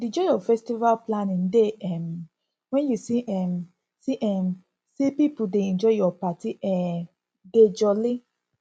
di joy of festival planning dey um wen u see um see um say pipo dey enjoy ur party um dey jolly